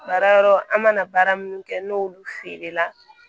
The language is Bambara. Baara yɔrɔ an mana baara minnu kɛ n'olu feerela